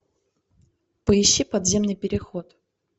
поищи подземный переход